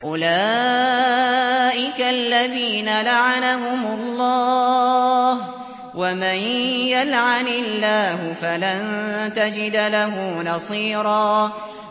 أُولَٰئِكَ الَّذِينَ لَعَنَهُمُ اللَّهُ ۖ وَمَن يَلْعَنِ اللَّهُ فَلَن تَجِدَ لَهُ نَصِيرًا